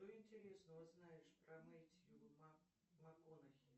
что интересного знаешь про мэтью макконахи